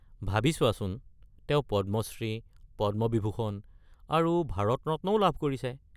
ভাবি চোৱাচোন, তেওঁ পদ্মশ্ৰী, পদ্মবিভূষণ আৰু ভাৰত ৰত্নও লাভ কৰিছে।